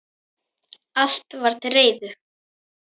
Allt var til reiðu.